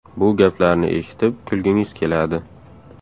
Bu gaplarni eshitib kulgingiz keladi.